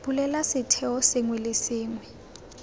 bulela setheo sengwe le sengwe